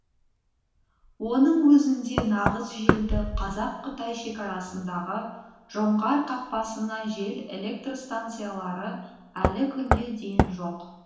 оның өзінде нағыз желді қазақ қытай шекарасындағы жоңғар қақпасына жел электр станциялары әлі күнге дейін жоқ